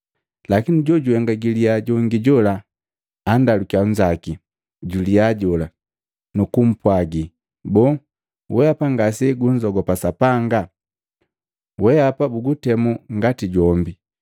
Lakini jojuhenga giliyaa jongi jola andakaliya nzaki juliyaa jola nu kupwagi, “Boo weapa ngase gunzogopa Sapanga? Wehapa bukutemu ngati jombi.